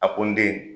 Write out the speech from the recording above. A ko n den